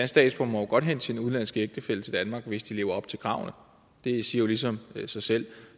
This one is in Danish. statsborger må godt hente sin udenlandske ægtefælle til danmark hvis de lever op til kravene det siger jo ligesom sig selv